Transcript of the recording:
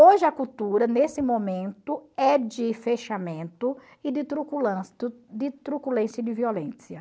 Hoje a cultura, nesse momento, é de fechamento e de de truculência e de violência.